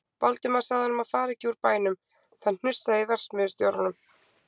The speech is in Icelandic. Valdimar sagði honum að fara ekki úr bænum, það hnussaði í verksmiðjustjóranum.